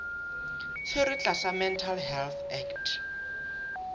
tshwerwe tlasa mental health act